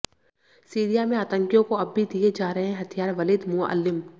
Syria में आतंकियों को अब भी दिए जा रहे हैं हथियारः वलीद मुअल्लिम